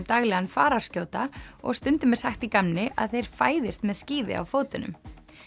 daglegan fararskjóta og stundum er sagt í gamni að þeir fæðist með skíði á fótunum